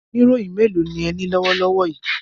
Oníròyìn mélòó lẹní lọ́wọ́ lọ́wọ́ yìí?